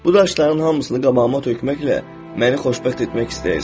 Bu daşların hamısını qabağıma tökməklə məni xoşbəxt etmək istəyirsən?